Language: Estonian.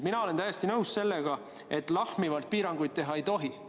Mina olen täiesti nõus, et lahmivalt piiranguid teha ei tohi.